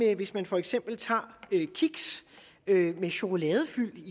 at hvis man for eksempel tager kiks med chokoladefyld